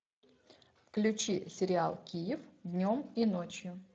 включи сериал киев днем и ночью